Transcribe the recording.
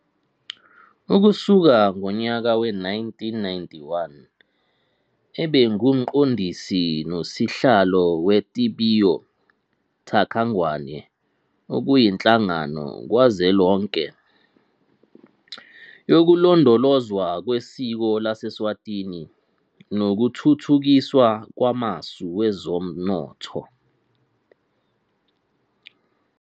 Ukusuka ngonyaka we-1991 ubengumqondisi nosihlalo weTibiyo TakaNgwane, okuyinhlangano kazwelonke yokulondolozwa kwesiko laseSwatini nokuthuthukiswa kwamasu wezomnotho.